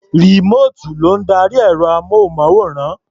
Rìmóòtù ló ń darí ẹ̀rọ-amóhùnmáwòrán.